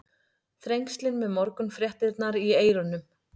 Þrengslin með morgunfréttirnar í eyrunum.